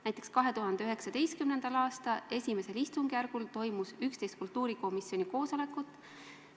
Näiteks 2019. aasta esimesel istungjärgul toimus 11 kultuurikomisjoni koosolekut.